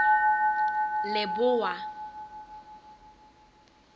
leboa